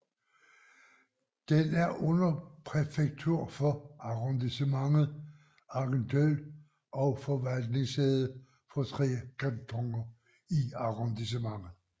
Den er underpræfektur for Arrondissementet Argenteuil og forvaltningssæde for tre kantoner i arrondissementet